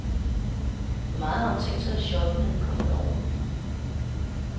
Hvor meget har hun tænkt sig at shoppe, når vi kommer derover?